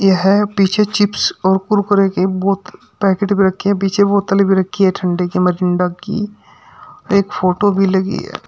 यह पीछे चिप्स और कुरकुरे की बोत पैकेट भी रखे पीछे बोतल भी रखी है ठंडे की मरिन्डा की आ एक फोटो भी लगी है।